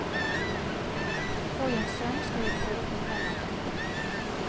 Får jeg en sønn, skal jeg prøve å fortelle ham dette.